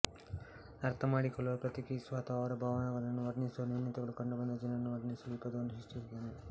ಅರ್ಥ ಮಾಡಿಕೊಳ್ಳುವ ಪ್ರಕ್ರಿಯಿಸುವ ಅಥವಾ ಅವರ ಭಾವಗಳನ್ನು ವರ್ಣಿಸುವ ನ್ಯೂನತೆಗಳು ಕಂಡುಬಂದ ಜನರನ್ನು ವರ್ಣಿಸಲು ಈ ಪದವನ್ನು ಸೃಷ್ಟಿಸಿದ್ದನು